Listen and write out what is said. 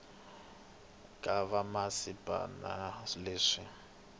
ka vamasipala na swifundza leswi